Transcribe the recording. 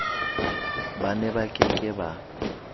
ba neba ke ke ba